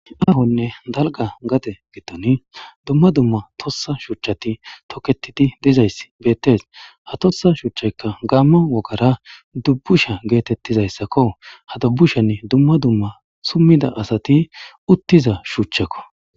ahonne dalga gate gittoni dumma dumma tossa shuchchati toketidi dizayss bettees ha tossa shuuchchaykka gaamma wogara dubbusha geetettizayssakko ha dubbushen dumma dumma summida asati uttiza shuchchakko